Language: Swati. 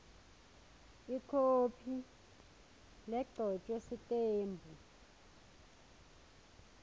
ikhophi legcotjwe sitembu